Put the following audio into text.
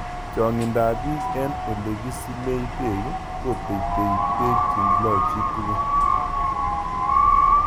Chang'indo ap piik eng' olekisilei peek kotetei peek che loe chi tukul